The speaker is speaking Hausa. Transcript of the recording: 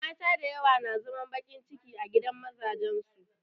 Mata dayawa na zaman baƙin ciki a gidan mazajen su